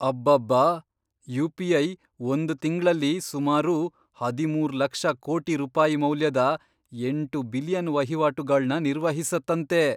ಅಬ್ಬಬ್ಬಾ! ಯುಪಿಐ ಒಂದ್ ತಿಂಗ್ಳಲ್ಲಿ ಸುಮಾರು ಹದಿಮೂರ್ ಲಕ್ಷ ಕೋಟಿ ರೂಪಾಯಿ ಮೌಲ್ಯದ ಎಂಟು ಬಿಲಿಯನ್ ವಹಿವಾಟುಗಳ್ನ ನಿರ್ವಹಿಸತ್ತಂತೆ!